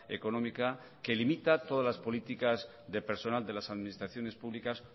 económica que limita todas las políticas de personal de las administraciones públicas